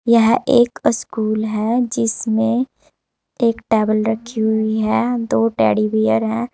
यह एक स्कूल है जिसमें एक टेबल रखी हुई है दो टैडी बियर हैं।